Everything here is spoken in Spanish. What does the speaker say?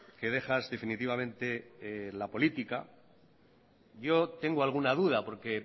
que dejas definitivamente la política yo tengo alguna duda porque